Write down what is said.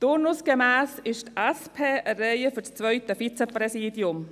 Turnusgemäss ist die SP an der Reihe für das zweite Vizepräsidium.